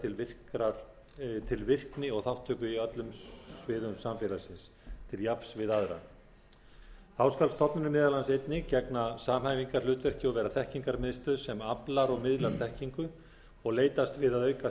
til virkni og þátttöku á öllum sviðum samfélagsins til jafns við aðra þá skal stofnunin meðal annars einnig gegna samhæfingarhlutverki og vera þekkingarmiðstöð sem aflar og miðlar þekkingu og leitast við að auka